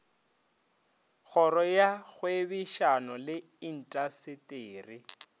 kgoro ya kgwebišano le intaseteri